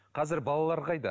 қазір балалар қайда